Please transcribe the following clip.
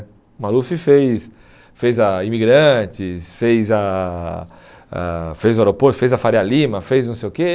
O Maluf fez fez a Imigrantes, fez a a fez o aeroporto, fez a Faria Lima, fez não sei o quê.